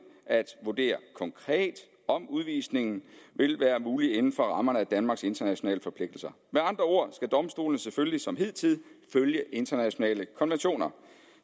at vurdere konkret om udvisning vil være muligt inden for rammerne af danmarks internationale forpligtelser med andre ord skal domstolene selvfølgelig som hidtil følge internationale konventioner